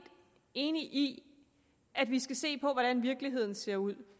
enig i at vi skal se på hvordan virkeligheden ser ud